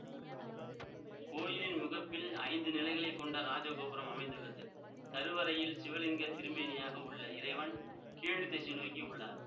கோயிலின் முகப்பில் ஐந்து நிலைகளை கொண்ட ராஜகோபுரம் அமைந்துள்ளது கருவறையில் சிவலிங்கத்திருமேனியாக உள்ள இறைவன் கீழ்திசை நோக்கி உள்ளார்